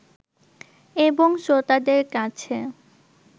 এবং শ্রোতাদের কাছে